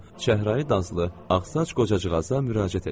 Çəhrayı danslı, ağsaç qocacığaza müraciət elədi.